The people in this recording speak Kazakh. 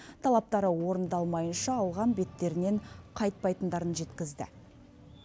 талаптары орындалмайынша алған беттерінен қайтпайтындарын жеткізді